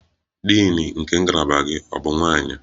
Din nke ngalaba gị ọ bụbu nwanyị?